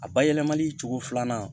A bayɛlɛmali cogo filanan